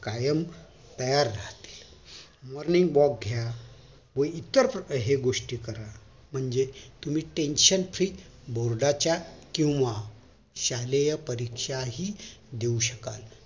कायम तयार राहते morning walk घ्या व इतर कोणत्याही गोष्टी करा म्हणजे तुम्ही tension free board च्या केंव्हा शालेय परीक्षा हि देऊ शकाल